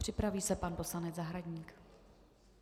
Připraví se pan poslanec Zahradník.